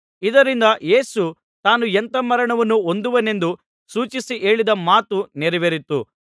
ಇದರಿಂದ ಯೇಸು ತಾನು ಎಂಥಾ ಮರಣವನ್ನು ಹೊಂದುವನೆಂದು ಸೂಚಿಸಿ ಹೇಳಿದ ಮಾತು ನೆರವೇರಿತು